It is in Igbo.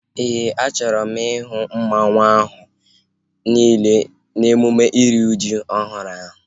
Éè, a chọrọ m ihu mmanwu ahu niile n'emume iri ji ọhụrụ ahu